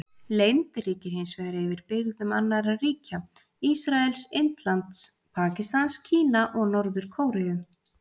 Leynd ríkir hins vegar yfir birgðum annarra ríkja: Ísraels, Indlands, Pakistans, Kína og Norður-Kóreu.